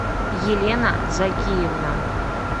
елена закиевна